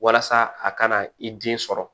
Walasa a kana i den sɔrɔ